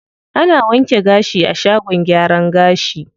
Ana wanke gashi a shagon gyaran gashi.